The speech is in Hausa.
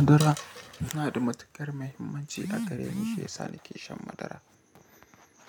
Madara yana da matukar mahimmanci a gare ni Eh, ina shan madara. Shan madara abu ne mai kyau saboda mahimmancin da madara take da daɗi kuma take gina lafiya.